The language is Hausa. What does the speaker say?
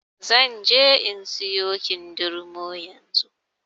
Zanje in in siyo kindirmo yanzu.